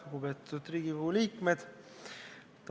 Lugupeetud Riigikogu liikmed!